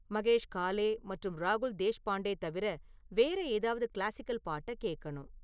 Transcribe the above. மகேஷ் காலே மற்றும் ராகுல் தேஷ்பாண்டே தவிர வேற ஏதாவது கிளாசிக்கல் பாட்டக் கேக்கணும்